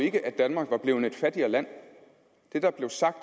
ikke at danmark var blevet et fattigere land det der blev sagt